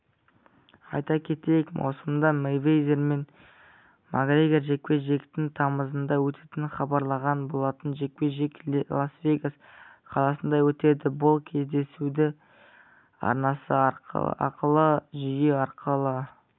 айта кетейік маусымда мейвезер мен макгрегор жекпе-жегінің тамызда өтетіні хабарланған болатын жекпе-жек лас-вегас қаласында өтеді бұл кездесуді арнасы ақылы жүйе арқылы